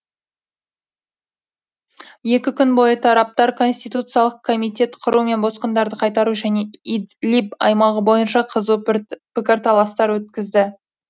екі күн бойы тараптар конституциялық комитет құру мен босқындарды қайтару және идлиб аймағы бойынша қызу пікірталастар өткізді